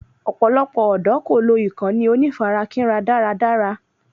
Ọ̀pọ̀lọpọ̀ ọ̀dọ́ kò lò ìkànnì onífarakínra dára dára